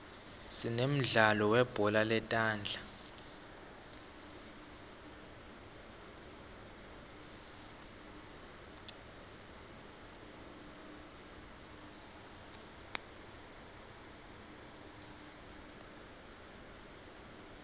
sinemdlalo weubhola letandla